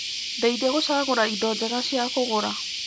Ndeithia gũcagũra indo njega cia kũgũra.